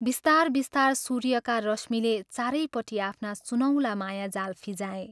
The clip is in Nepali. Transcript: बिस्तार बिस्तार सूर्यका रश्मिले चारैपट्टि आफ्ना सुनौला मायाजाल फिंजाए।